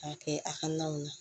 K'a kɛ a ka naw na